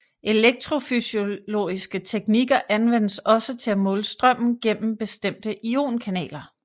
Elektrofysiologiske teknikker anvendes også til at måle strømmen gennem bestemte ionkanaler